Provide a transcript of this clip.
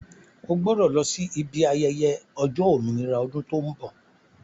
Ó gbọ́dọ̀ lọ sí ibi ayẹyẹ ọjọ́ òmìnira ọdún tó ń bọ̀